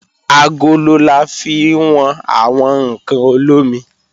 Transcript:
Agolo la fi wọn àwọn ǹkan olómi